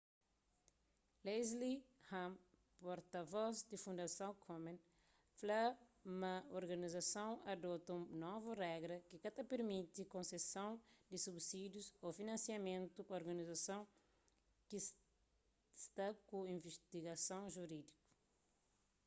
leslie aun porta-voz di fundason komen fla ma organizason adota un novu regra ki ka ta pirmiti konseson di subisídius ô finansiamentu pa organizason ki sta ku invistigason juridiku